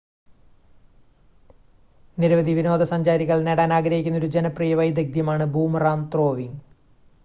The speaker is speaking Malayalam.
നിരവധി വിനോദസഞ്ചാരികൾ നേടാൻ ആഗ്രഹിക്കുന്ന ഒരു ജനപ്രിയ വൈദഗ്ദ്ധ്യം ആണ് ബൂമറാങ് ത്രോവിങ്